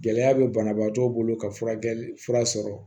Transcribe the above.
Gɛlɛya bɛ banabaatɔw bolo ka furakɛli fura sɔrɔ